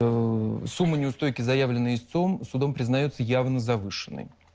сумма неустойки заявленная истцом судом признается явно завышенной